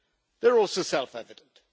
they're also self evident.